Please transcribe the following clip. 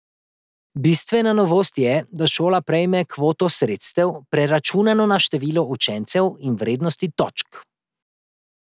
Bistvena novost je, da šola prejme kvoto sredstev, preračunano na število učencev in vrednosti točk.